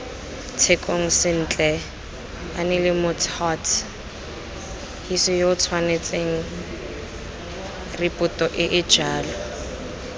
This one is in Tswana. tshekong sentle aneelemots huts hisiyootshwanetsengripotoeejalo